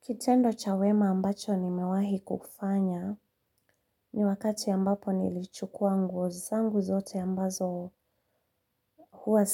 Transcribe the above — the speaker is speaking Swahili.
Kitendo cha wema ambacho nimewahi kufanya, ni wakati ambapo nilichukua nguo zangu zote ambazo huwa